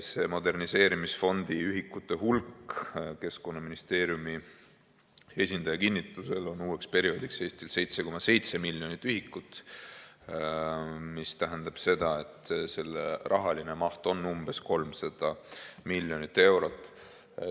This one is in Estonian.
See moderniseerimisfondi ühikute hulk Keskkonnaministeeriumi esindaja kinnitusel on uueks perioodiks Eestil 7,7 miljonit ühikut, mis tähendab seda, et selle rahaline maht on umbes 300 miljonit eurot.